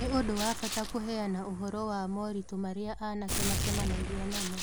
Nĩ ũndũ wa bata kũheana ũhoro wa moritũ marĩa anake macemanagia namo.